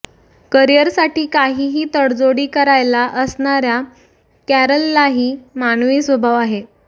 करीयरसाठी काहीही तडजोडी करायला असणाऱ्या कॅरललाही मानवी स्वभाव आहे